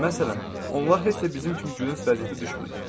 Məsələn, onlar heç də bizim kimi gülünc vəziyyətə düşmürlər.